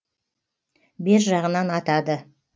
бер жағынан атады